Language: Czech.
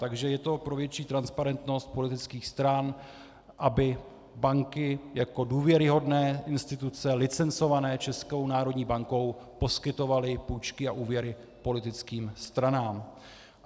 Takže je to pro větší transparentnost politických stran, aby banky jako důvěryhodné instituce licencované Českou národní bankou poskytovaly půjčky a úvěry politickým stranám.